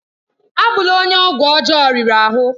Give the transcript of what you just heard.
Abụ́la onye ọgwụ ọjọọ riri ahụ!